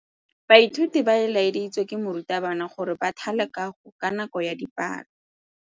Baithuti ba laeditswe ke morutabana gore ba thale kagô ka nako ya dipalô.